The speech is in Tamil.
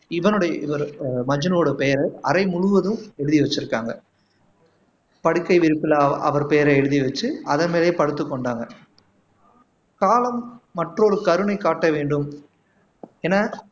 இவனுடைய இவரு மஜ்னுவோட பெயரை அறை முழுவதும் எழுதி வச்சிருக்காங்க படுக்கை விரிப்புல அவர் பெயரை எழுதி வச்சு அதன் மேலேயே படுத்துக் கொண்டாங்க காலம் மற்றொரு கருணை காட்ட வேண்டும் என